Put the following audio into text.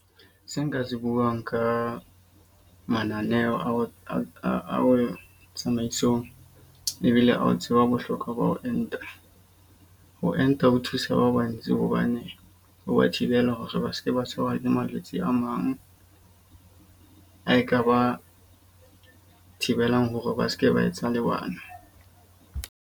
Se nka se buang ka mananeo ao a tsamaisong ebile a o tseba bohlokwa ba ho enta. Ho enta ho thusa ba bona ntsi hobane ho ba thibela hore ba seke ba tshwarwa ke malwetse a mang a ekaba thibelang hore ba seke ba etsa le bana.